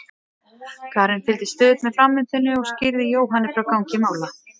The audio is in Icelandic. Karen fylgdist stöðugt með framvindunni og skýrði Jóhanni frá gangi mála.